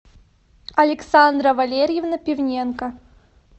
александра валерьевна пивненко